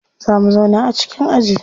Za mu zauna a cikin aji.